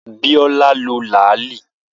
Biola lo làálí